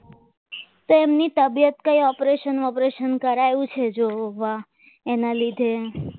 તેમની તબિયત કઈ ઓપરેશન ઓપરેશન કરાવ્યું છે જોવા એના લીધે